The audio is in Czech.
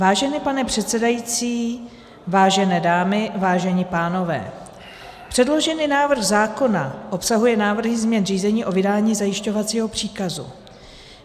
Vážený pane předsedají, vážené dámy, vážení pánové, předložený návrh zákona obsahuje návrhy změn řízení o vydání zajišťovacího příkazu.